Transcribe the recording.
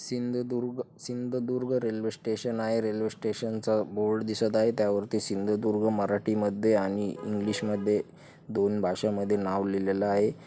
सिंधुदुर्ग-सिंधदुर्ग railway station आहे railway station च board दिसत आहे त्यावरती सिंधुदुर्ग मराठी मध्ये आणि इंग्लिश मध्ये दोन भाषा मध्ये नाव लिहलेल आहे.